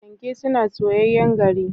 panke suna soyayyen gari